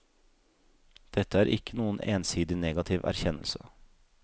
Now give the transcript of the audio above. Dette er ikke noen ensidig negativ erkjennelse.